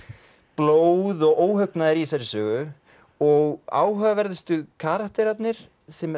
blóð og óhugnaður í þessari sögu og áhugaverðustu karakterarnir